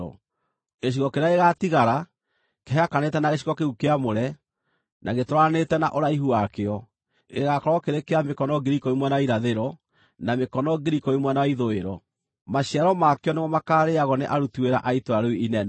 Gĩcigo kĩrĩa gĩgaatigara, kĩhakanĩte na gĩcigo kĩu kĩamũre, na gĩtwaranĩte na ũraihu wakĩo, gĩgaakorwo kĩrĩ kĩa mĩkono 10,000 mwena wa irathĩro, na mĩkono 10,000 mwena wa ithũĩro. Maciaro makĩo nĩmo makaarĩĩagwo nĩ aruti wĩra a itũũra rĩu inene.